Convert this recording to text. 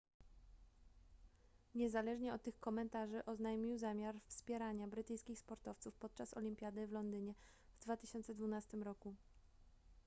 niezależnie od tych komentarzy oznajmił zamiar wspierania brytyjskich sportowców podczas olimpiady w londynie w 2012 roku